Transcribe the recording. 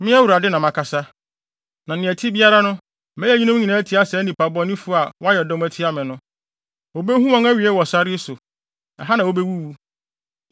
Me, Awurade, na makasa, na nea ɛte biara no mɛyɛ eyinom atia saa nnipa bɔnefo yi a wayɛ dɔm atia me no. Wobehu wɔn awiei wɔ sare yi so; ɛha na wobewuwu.”